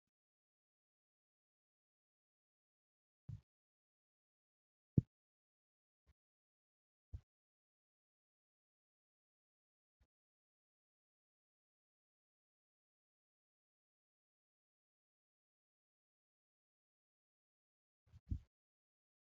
Kuduraafi muduraan gosa oomishaa keessaa tokko ta'anii, dhala namaatin yookiin Qotee bulaadhan kan oomishamanidha. Oomishni Kunis, tajaajila nyaataf kan oolaniifi nyaatarra darbanii gabaaf dhiyaachuun madda galii kan kennanidha. Akkasumas nyaataf yeroo oolan, albuuda gosa adda addaa waan qabaniif, fayyaaf barbaachisoodha.